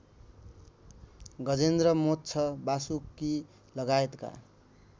Gajendra Moksha वासुकीलगायतका